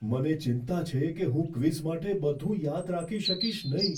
મને ચિંતા છે કે હું ક્વિઝ માટે બધું યાદ રાખી શકીશ નહીં.